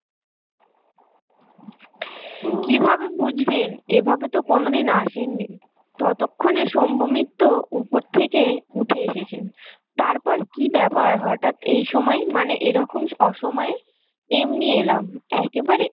বুঝবেন এভাবে তো কোনোদিন আসেননি। ততক্ষনে শম্ভু মিত্র ওপর থেকে উঠে এসেছেন। তারপর কি ব্যাপার হঠাৎ এই সময়ে মানে এরকম অসময়ে? এমনি এলাম একেবারে